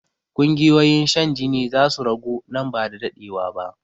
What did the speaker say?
Ƙungiyoyin shan jini zasu ragu nan ba da daɗewa ba